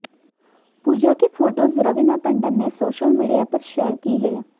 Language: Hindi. पूजा की फोटोज रवीना टंडन ने सोशल मीडिया पर शेयर की हैं